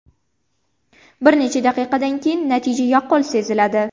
Bir necha daqiqadan keyin natija yaqqol seziladi.